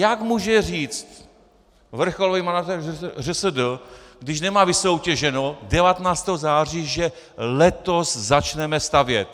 Jak může říct vrcholový manažer ŘSD, když nemá vysoutěženo 19. září, že letos začneme stavět?